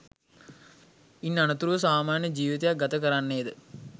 ඉන් අනතුරුව සාමාන්‍ය ජීවිතයක් ගත කරන්නේද?